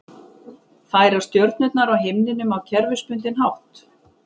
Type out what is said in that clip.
Færast stjörnurnar á himninum á kerfisbundinn hátt?